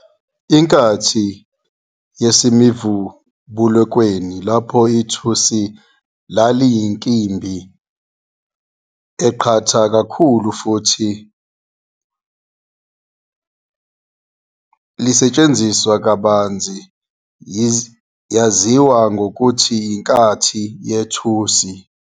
Inkathi yasemivubulukweni lapho ithusi laliyinkimbi eqatha kakhulu futhi lisetshenziswa kabanzi yaziwa ngokuthi inkathi yethusi.